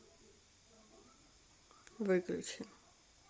выключи